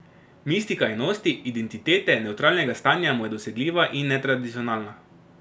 Mistika enosti, identitete, nevtralnega stanja mu je dosegljiva in netradicionalna.